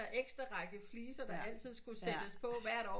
Ekstra række fliser der altid skulle på hvert år